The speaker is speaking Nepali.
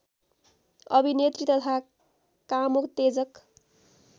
अभिनेत्री तथा कामोत्तेजक